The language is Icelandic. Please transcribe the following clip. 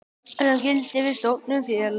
sem gildir við stofnun félags.